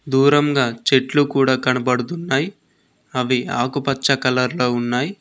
దూరంగా చెట్లు కూడా కనబడుతున్నాయి అవి ఆకుపచ్చ కలర్ లో ఉన్నాయి.